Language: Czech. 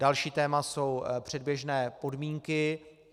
Další téma jsou předběžné podmínky.